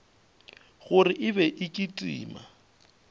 gore e be e kitima